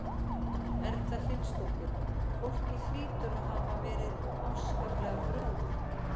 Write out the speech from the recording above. Erla Hlynsdóttir: Fólki hlýtur að hafa verið afskaplega brugðið?